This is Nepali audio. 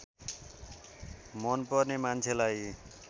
मन पर्ने मान्छेलाई